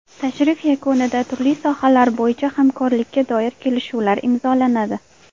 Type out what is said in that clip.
Tashrif yakunida turli sohalar bo‘yicha hamkorlikka doir kelishuvlar imzolanadi.